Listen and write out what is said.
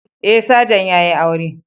Eh sajan yayi aure